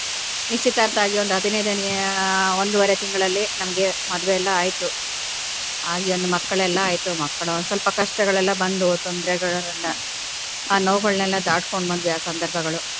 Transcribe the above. ನಿಶ್ಚಿತಾರ್ಥ ಆಗಿ ಒಂದು ಹದಿನೈದನೆಯ ಒಂದುವರೆ ತಿಂಗಳಲ್ಲಿ ನಮ್ಗೆ ಮದುವೆ ಎಲ್ಲಾ ಆಯ್ತು ಆಗಿ ಒಂದು ಮಕ್ಕಳೆಲ್ಲಾ ಆಯ್ತು ಮಕ್ಕಳು ಒಂದ್ ಸ್ವಲ್ಪ ಕಷ್ಟಗಳೆಲ್ಲ ಬಂದು ತೊಂದ್ರೆಗಳೆಲ್ಲ ಆ ನೋವುಗಳನೆಲ್ಲ ದಾಟ್ಕೊಂಡ್ ಬಂದ್ವಿ ಆ ಸಂದರ್ಭಗಳು.